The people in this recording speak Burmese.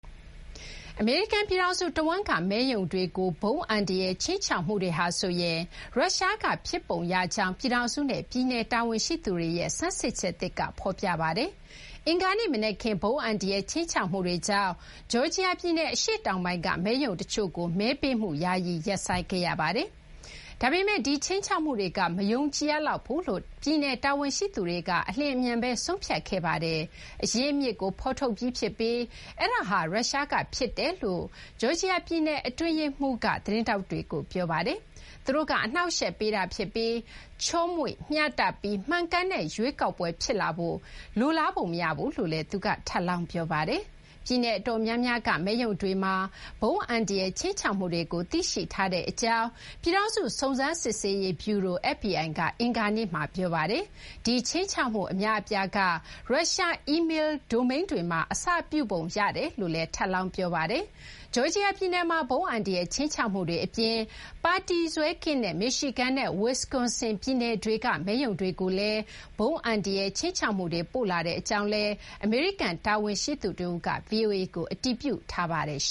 အမေရိကန် ပြည်ထောင်စု တဝန်းက မဲရုံတွေကို ဗုံးအန္တရာယ် ခြိမ်းခြောက်မှုတွေဟာ ရုရှားက ဖြစ်ပုံရကြောင်း ပြည်ထောင်စုနဲ့ ပြည်နယ် တာဝန်ရှိသူတွေရဲ့ ဆန်းစစ်ချက်သစ်က ဖော်ပြပါတယ်။ အင်္ဂါနေ့ မနက်ခင်း ဗုံးအန္တရာယ် ခြိမ်းခြောက်မှုတွေကြောင့် ဂျော်ဂျီယာ ပြည်နယ် အရှေ့တောင်ပိုင်းက မဲရုံ တချို့ကို မဲပေးမှု ယာယီ ရပ်ဆိုင်းခဲ့ရပါတယ်။ ဒါပေမဲ့ ဒီခြိမ်းခြောက်မှုတွေက မယုံကြည်ရဘူးလို့ ပြည်နယ် တာဝန်ရှိသူတွေက အလျင်အမြန် ဆုံးဖြတ်ခဲ့ပါတယ်။ အရင်းအမြစ်ကို ဖော်ထုတ်ပြီး ဖြစ်ပြီး အဲဒါဟာ ရုရှားက ဖြစ်ကြောင်း ဂျော်ဂျီယာ ပြည်နယ် အတွင်းရေးမှူး Brad Raffensperger က သတင်းထောက်တွေကို ပြောပါတယ်။ သူတို့က အနှောင့်အယှက် ပေးတာဖြစ်ပြီး ချောမွေ့၊ မျှတပြီး မှန်ကန်တဲ့ ရွေးကောက်ပွဲ ဖြစ်လာဖို့ သူတို့က လိုလားပုံ မရဘူးလို့လည်း သူက ထပ်လောင်း ပြောပါတယ်။ ပြည်နယ် အတော်များများက မဲရုံတွေမှာ ဗုံးအန္တရာယ် ခြိမ်းခြောက်မှုတွေကို သိရှိထားကြောင်း ပြည်ထောင်စု စုံစမ်းစစ်ဆေးရေးဗျူရို FBI က အင်္ဂါနေ့မှာ ပြောပါတယ်။ ဒီခြိမ်းခြောက်မှု အများအပြားဟာ ရုရှား အီးမေလ်း ဒိုမိန်းတွေမှာ အစပြုပုံရကြောင်းလည်း ထပ်လောင်း ပြောပါတယ်။ ဂျော်ဂျီယာ ပြည်နယ် မှာ ဗုံးအန္တရာယ် ခြိမ်းခြောက်မှုတွေ အပြင် ပါတီစွဲ မရှိတဲ့ မစ်ရှီဂန်နဲ့ ဝစ်ကွန်ဆင် ပြည်နယ်တွေက မဲရုံတွေကိုလည်း ဗုံး အန္တရာယ် ခြိမ်းခြောက်မှုတွေ ပို့လာကြောင်းလည်း အမေရိကန် တာဝန်ရှိသူ တဦးက ဗွီအိုအေကို အတည်ပြုပါတယ်။